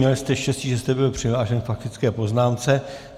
Měl jste štěstí, že jste byl přihlášen k faktické poznámce.